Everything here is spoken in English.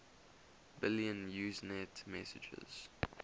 billion usenet messages